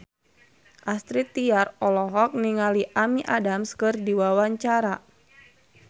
Astrid Tiar olohok ningali Amy Adams keur diwawancara